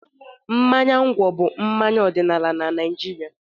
Mmanya ngwọ bụ mmanya ọdịnala na Naịjirịa.